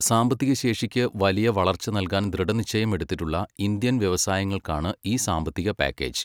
സാമ്പത്തിക ശേഷിക്ക് വലിയ വളർച്ച നൽകാൻ ദൃഢനിശ്ചയം എടുത്തിട്ടുള്ള ഇന്ത്യൻ വ്യവസായങ്ങൾക്കാണ് ഈ സാമ്പത്തിക പാക്കേജ്.